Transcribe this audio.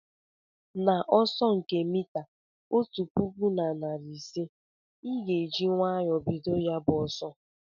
N'ọsọ nke mita otu pụkụ na narị ise, ị ga-eji nwayọọ bido ya bụ ọsọ